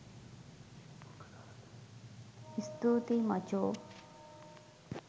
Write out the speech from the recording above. ස්තූතියි මචෝ!